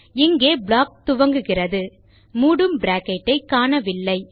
இங்கே ப்ளாக் துவங்குகிறது மூடும் பிராக்கெட் ஐ காணவில்லை